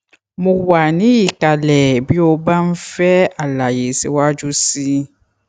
mo wà ní ìkàlẹ bí o bá ń fẹ àlàyé síwájú sí i